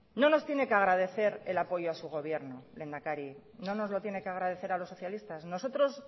no nos tiene que agradecer el apoyo a su gobierno lehendakari no nos lo tiene que agradecer a los socialistas nosotros